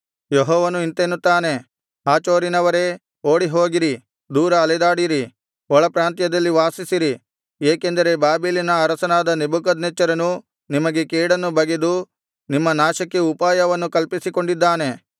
ಯೆಹೋವನು ಇಂತೆನ್ನುತ್ತಾನೆ ಹಾಚೋರಿನವರೇ ಓಡಿಹೋಗಿರಿ ದೂರ ಅಲೆದಾಡಿರಿ ಒಳಪ್ರಾಂತ್ಯದಲ್ಲಿ ವಾಸಿಸಿರಿ ಏಕೆಂದರೆ ಬಾಬೆಲಿನ ಅರಸನಾದ ನೆಬೂಕದ್ನೆಚ್ಚರನು ನಿಮಗೆ ಕೇಡನ್ನು ಬಗೆದು ನಿಮ್ಮ ನಾಶಕ್ಕೆ ಉಪಾಯವನ್ನು ಕಲ್ಪಿಸಿಕೊಂಡಿದ್ದಾನೆ